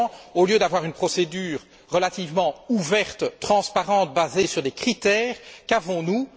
Au lieu d'une procédure relativement ouverte, transparente, basée sur des critères, qu'avons nous?